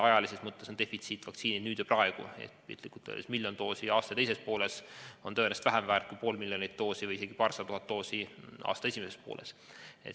Ajalises mõttes on defitsiit vaktsiinid nüüd ja praegu, ehk piltlikult öeldes miljon doosi aasta teises pooles on tõenäoliselt vähem väärt kui pool miljonit doosi või isegi paarsada tuhat doosi aasta esimeses pooles.